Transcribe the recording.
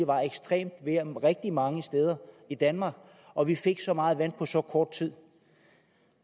var ekstremt vejr rigtig mange steder i danmark og vi fik så meget vand på så kort tid